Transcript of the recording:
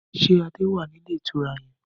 Ṣé Adé wá ní ilé ìtura yẹn?